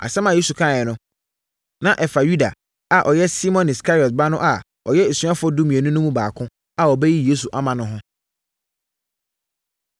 Asɛm a Yesu kaeɛ no, na ɛfa Yuda a ɔyɛ Simon Iskariot ba no a ɔyɛ asuafoɔ dumienu no mu baako a ɔbɛyi Yesu ama no ho.